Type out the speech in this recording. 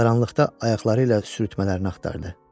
Qaranlıqda ayaqları ilə sürtmələrini axtardı.